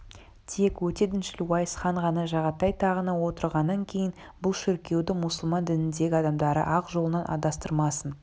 тек өте діншіл уайс хан ғана жағатай тағына отырғаннан кейін бұл шіркеуді мұсылман дініндегі адамдарды ақ жолынан адастырмасын